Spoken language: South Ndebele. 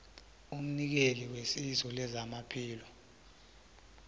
umnikeli wesizo lezamaphilo